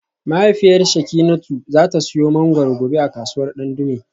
Mahaifiyar Shekinatu za ta siyo mangwaro gobe a kasuwar Dandume